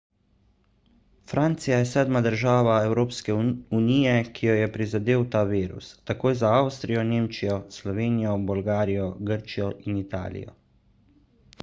francija je sedma država evropske unije ki jo je prizadel ta virus takoj za avstrijo nemčijo slovenijo bolgarijo grčijo in italijo